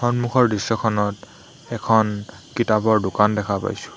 সম্মুখৰ দৃশ্যখনত এখন কিতাপৰ দোকান দেখা পাইছোঁ।